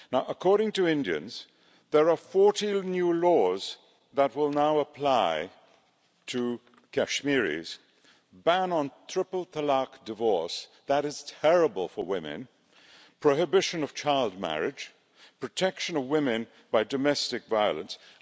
According to Indians, there are 40 new laws that will now apply to Kashmiris a ban on the triple talaq divorce that is terrible for women, prohibition of child marriage, protection of women from domestic violence, etc.